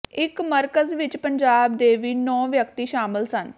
ਇਸ ਮਰਕਜ਼ ਵਿੱਚ ਪੰਜਾਬ ਦੇ ਵੀ ਨੌਂ ਵਿਅਕਤੀ ਸ਼ਾਮਲ ਸਨ